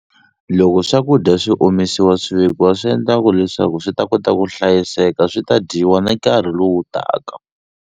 Loko swakudya swi omisiwa swi vekiwa swi endla ku leswaku swi ta kota ku hlayiseka swi ta dyiwa ni nkarhi lowu taka.